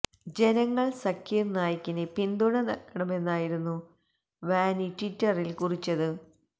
ജനങ്ങൾ സക്കീർ നായിക്കിന് പിന്തുണ നൽകണമെന്നായിരുന്നു വാനി ട്വിറ്ററിൽ കുറിച്ചത്